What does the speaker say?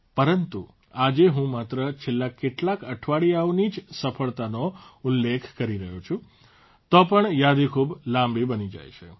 પરંતુ આજે હું માત્ર છેલ્લા કેટલાક અઠવાડિયાઓની જ સફળતાનો ઉલ્લેખ કરી રહ્યો છું તો પણ યાદી ખૂબ લાંબી બની જાય છે